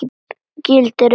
Gildir einu!